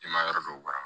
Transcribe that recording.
Jɛman yɔrɔ dɔw bara